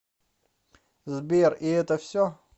сбер и это все